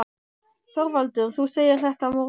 ÞORVALDUR: Þú segir þetta á morgun?